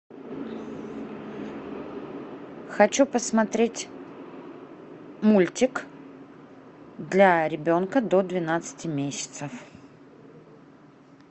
хочу посмотреть мультик для ребенка до двенадцати месяцев